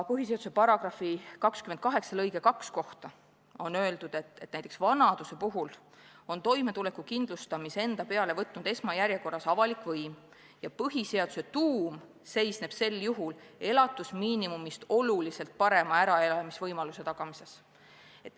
Põhiseaduse § 28 lõike 2 kohta on öeldud, et näiteks vanaduse puhul peab toimetuleku kindlustamise enda peale võtma esmajärjekorras avalik võim, aga põhiseaduse mõte seisneb sel juhul elatusmiinimumist oluliselt parema äraelamisvõimaluse tagamises.